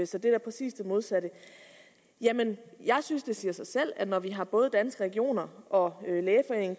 så det er præcis det modsatte jamen jeg synes det siger sig selv når vi har både danske regioner og lægeforeningen